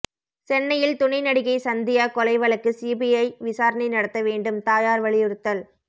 சென்னையில் துணை நடிகை சந்தியா கொலை வழக்கு சிபிஐ விசாரணை நடத்த வேண்டும் தாயார் வலியுறுத்தல்